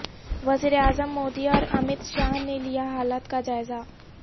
وزیر اعظم مودی اور امت شاہ نے لیا حالات کا جائزہ